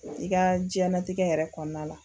I ka diɲɛnatigɛ yɛrɛ kɔnɔna la